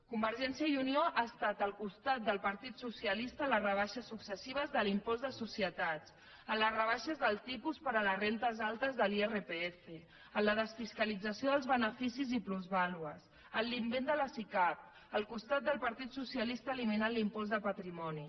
convergència i unió ha estat al costat del partit socialista en les rebaixes successives de l’impost de societats en les rebaixes del tipus per a les rendes altes de l’irpf en la desfiscalització dels beneficis i plusvàlues en l’invent de les sicav al costat del partit socialista eliminant l’impost de patrimoni